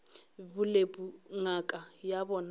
bolepu ngaka ya bona e